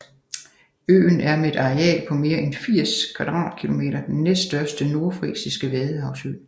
Øen er med et areal på mere end 80 km² den næststørste nordfrisiske vadehavsø